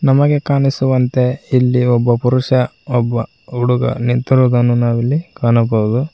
ನಮಗೆ ಕಾಣಿಸುವಂತೆ ಇಲ್ಲಿ ಒಬ್ಬ ಪುರುಷ ಒಬ್ಬ ಹುಡುಗ ನಿಂತಿರುವುದನ್ನು ನಾವು ಇಲ್ಲಿ ಕಾಣಬಹುದು.